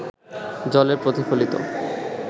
জলে প্রতিফলিত